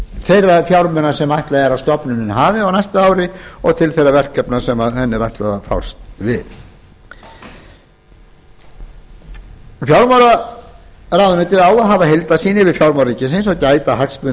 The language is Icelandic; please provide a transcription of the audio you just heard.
þeirra fjármuna sem ætlað er að stofnunin hafi á næsta ári og til þeirra verkefna sem henni er ætlað að fást við fjármálaráðuneytið á að hafa heildarsýn yfir fjármál ríkisins og gæta hagsmuna